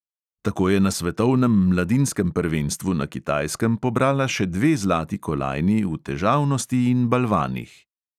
Tako je na svetovnem mladinskem prvenstvu na kitajskem pobrala še dve zlati kolajni v težavnosti in balvanih.